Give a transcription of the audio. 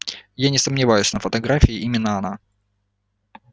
я не сомневаюсь на фотографии именно она